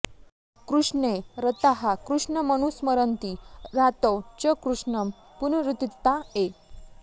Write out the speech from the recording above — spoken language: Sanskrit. कृष्णे रताः कृष्णमनुस्मरन्ति रात्रौ च कृष्णं पुनरुत्थिता ये